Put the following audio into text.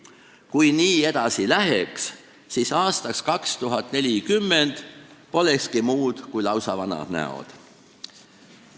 Kui nii edasi läheks, siis aastaks 2040 polekski muud kui lausa vanad näod.